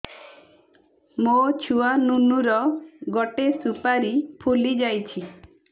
ମୋ ଛୁଆ ନୁନୁ ର ଗଟେ ସୁପାରୀ ଫୁଲି ଯାଇଛି